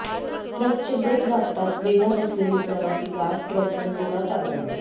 ट्रकचे ब्रेक दाबताच वेगात असलेली प्रवाशी कार ट्रकवर जोरात आदळली